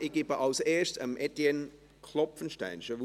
Ich gebe zuerst Etienne Klopfenstein das Wort.